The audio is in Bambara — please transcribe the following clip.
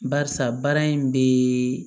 Barisa baara in be